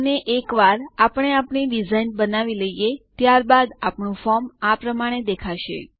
અને એકવાર આપણે આપણી ડિઝાઇન બનાવી લઈએ ત્યાર બાદ આપણું ફોર્મ આ પ્રમાણે દેખાશે